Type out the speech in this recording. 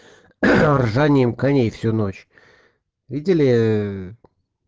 ржанием коней всю ночь виделии